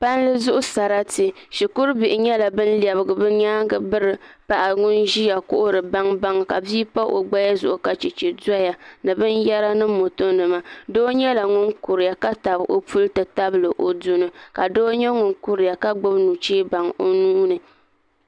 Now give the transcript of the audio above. Palli zuɣu sarati shikuru bihi nyɛla bin lɛbigi bi nyaangi biri paɣa ŋun ʒiya kuhuri baŋbaŋ ka bia pa o naba zuɣu ka chɛchɛ doya ni binyɛra ni moto nima doo nyɛla ŋun kuriya ka tabi o puli ti tabili o duni ka doo nyɛ ŋun kuriya ka gbubi nuchɛ baŋ o nuuni